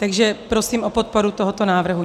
Takže prosím o podporu tohoto návrhu.